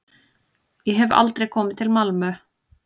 Ég hef aldrei komið til Malmö.